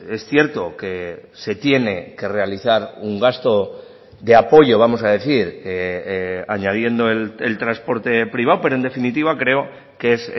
es cierto que se tiene que realizar un gasto de apoyo vamos a decir añadiendo el transporte privado pero en definitiva creo que es